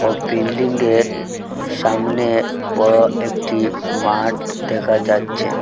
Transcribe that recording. ও building -এর সামনে বড় একটি মাঠ দেখা যাচ্ছে।